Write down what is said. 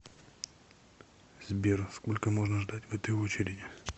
сбер сколько можно ждать в этой очереди